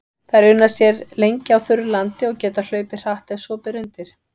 Þær una sér lengi á þurru landi og geta hlaupið hratt ef svo ber undir.